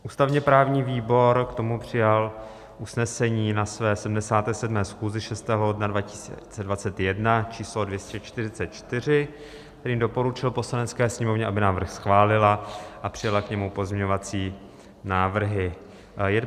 Ústavně-právní výbor k tomu přijal usnesení na své 77. schůzi 6. ledna 2021 číslo 244, kterým doporučil Poslanecké sněmovně, aby návrh schválila a přijala k němu pozměňovací návrhy.